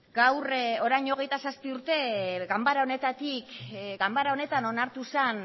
gaur orain hogeita zazpi urte ganbara honetatik ganbara honetan onartu zen